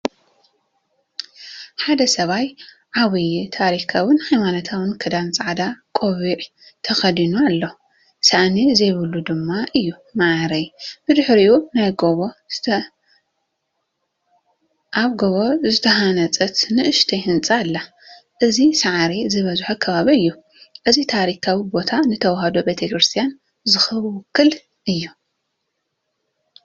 ሓደ ሰብኣይ ዓብይ ታሪኻውን ሃይማኖታውን ክዳን ጻዕዳ ቆቢዕ ተኸዲኑ ኣሎ፡፡ ሳእኒ ዘይብሉ ድማ እዩ ማዓረይ። ብድሕሪኡ ኣብ ጎቦ ዝተሃንጸት ንእሽቶ ህንጻ ኣላ፣ እዚ ሳዕሪ ዝበዝሖ ከባቢ እዩ። እዚ ታሪኻዊ ቦታ ንተወህዶ ቤተ ክርስትያን ዝውክል እዩ።